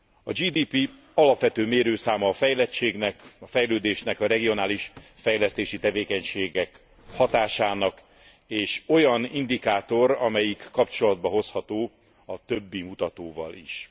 A GDP alapvető mérőszáma a fejlettségnek, a fejlődésnek, a regionális fejlesztési tevékenységek hatásának, és olyan indikátor, amelyik kapcsolatba hozható a többi mutatóval is.